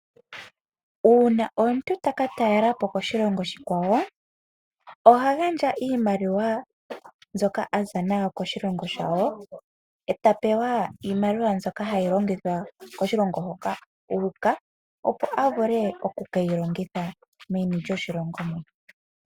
Uuna omuntu takatalelapo koshilongo oshikwawo. Ohagandja iimaliwa ndyoka aza nayo koshilongo shawo eta pewa iimaliwa ndyoka hayi longithwa koshilongo hoka uuka opo avule okukeyi longitha meni lyoshilongo moka.